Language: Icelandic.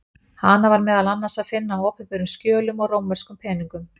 Hana var meðal annars að finna á opinberum skjölum og rómverskum peningum.